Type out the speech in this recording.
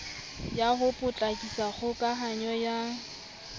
ya ho potlakisa kgokahanyo ya